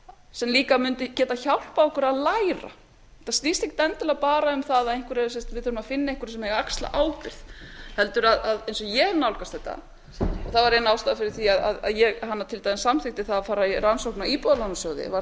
sem mundi líka geta hjálpað okkur að læra þetta snýst ekki endilega bara um að við þurfum að finna einhverja sem eigi að axla ábyrgð heldur eins og ég nálgast þetta þá var ein ástæðan fyrir því að ég til dæmis samþykkti það að fara í rannsókn á íbúðalánasjóði var